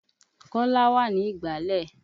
Kọ́lá wà ní ìgbàlẹ̀.